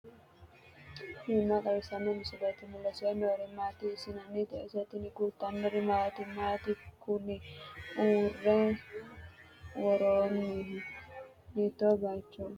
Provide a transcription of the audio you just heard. tini maa xawissanno misileeti ? mulese noori maati ? hiissinannite ise ? tini kultannori maati? Matti kunni usurre woroonnihu? hiitto bayiichcho heeranno?